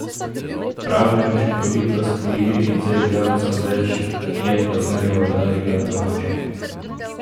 Prav neučinkovitost v igri z igralcem več je pozneje udarila domače.